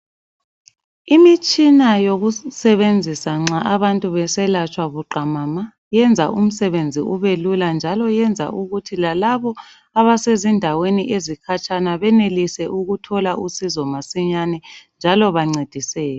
Imitshina yokusebenzisa nxa abantu beselatshwa buqamama iyenza umsebenzi ubelula njalo iyenza ukuthi lalabo abase zindaweni ezikhatshana benelise ukuthola usizo masinyane njalo bancediseke.